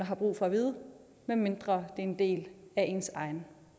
har brug for vide medmindre det en del af ens egen